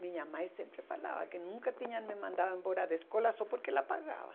Minha mãe sempre falava que nunca tinha me mandado embora da escola só porque ela pagava.